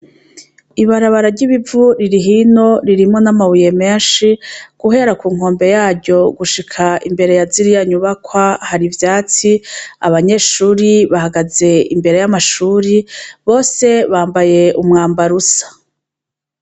Ibarabara ry'ibivu riri hino ririmwo n'amabuye menshi guhera kunkombe yaryo gushika imbere yaziriya nyubakwa har'ivyatsi abanyeshure bahagaze imbere y'amashure bose bambaye umwambaro usa.